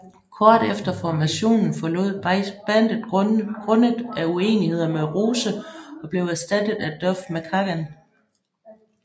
Kort efter formationen forlod Beich bandet grundet af uenigheder med Rose og blev erstattet af Duff McKagan